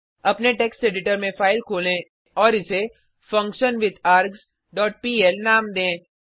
अपने text editor में file खोलें और इसे फंक्शनविथार्ग्स डॉट पीएल नाम दें